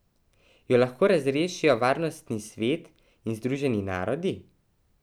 Jo lahko razrešijo Varnostni svet in Združeni narodi?